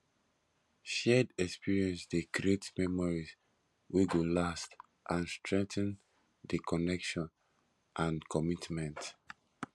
shared experience de create memories wey go last and strengthen di connection and commitment